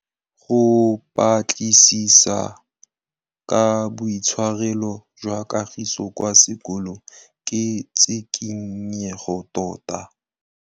Go batlisisa ka boitshwaro jwa Kagiso kwa sekolong ke tshikinyêgô tota.